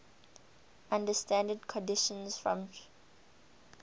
under standard conditions from ch